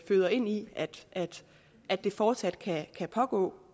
føder ind i at det fortsat kan pågå